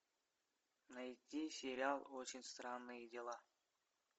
найди сериал очень странные дела